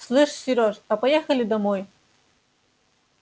слышь серёж а поехали домой